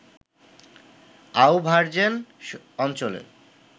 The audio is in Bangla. আউভার্জেন অঞ্চলে